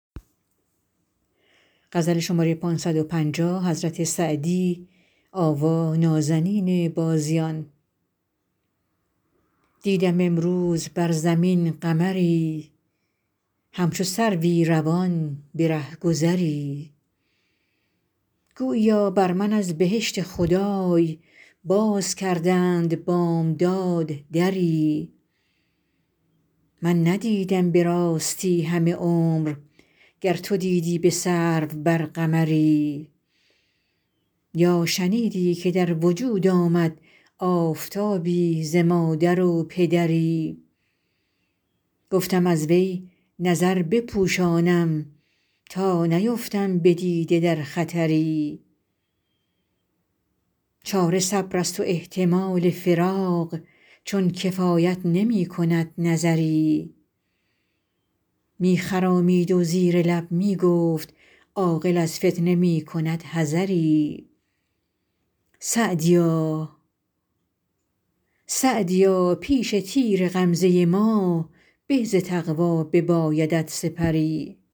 دیدم امروز بر زمین قمری همچو سروی روان به رهگذری گوییا بر من از بهشت خدای باز کردند بامداد دری من ندیدم به راستی همه عمر گر تو دیدی به سرو بر قمری یا شنیدی که در وجود آمد آفتابی ز مادر و پدری گفتم از وی نظر بپوشانم تا نیفتم به دیده در خطری چاره صبر است و احتمال فراق چون کفایت نمی کند نظری می خرامید و زیر لب می گفت عاقل از فتنه می کند حذری سعدیا پیش تیر غمزه ما به ز تقوا ببایدت سپری